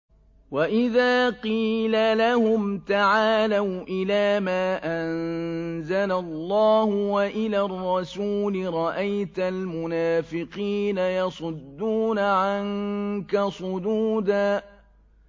وَإِذَا قِيلَ لَهُمْ تَعَالَوْا إِلَىٰ مَا أَنزَلَ اللَّهُ وَإِلَى الرَّسُولِ رَأَيْتَ الْمُنَافِقِينَ يَصُدُّونَ عَنكَ صُدُودًا